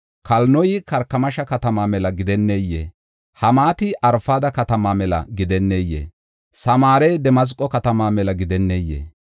Kalinoy Karkamisha katamaa mela gidenneyee? Hamaati Arfada katamaa mela gidenneyee? Samaarey Damasqo katamaa mela gidenneyee?